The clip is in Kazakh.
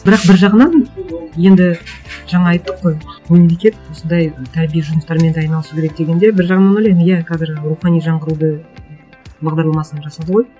бірақ бір жағынан енді жаңа айттық қой мемлекет осындай тәрбие жұмыстарымен де айналысу керек дегенде бір жағынан ойлаймын иә қазір рухани жаңғыруды бағдарламасын жасады ғой